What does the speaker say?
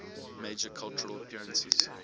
major cultural appearances